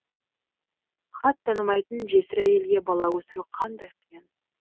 хат танымайтын жесір әйелге бала өсіру қандай қиын